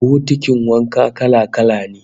Bokitin wanka kala-kala ne